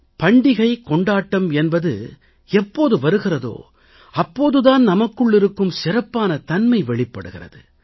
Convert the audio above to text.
பண்டிகை கொண்டாட்டம் என்பதை எப்போது வருகிறதோ அப்போது தான் நமக்குள் இருக்கும் சிறப்பான தன்மை வெளிப்படுகிறது